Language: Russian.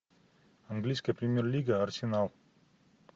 английская премьер лига арсенал